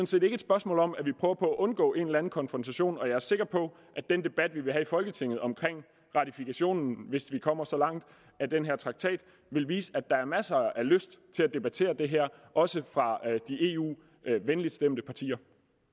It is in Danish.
set ikke et spørgsmål om at vi prøver på at undgå en eller anden konfrontation og jeg er sikker på at den debat vi vil have i folketinget om ratifikationen hvis vi kommer så langt med den her traktat vil vise at der er masser af lyst til at debattere det her også fra de eu venligtstemte partier